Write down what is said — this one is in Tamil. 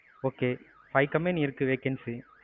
okay. five company இருக்குது vacency.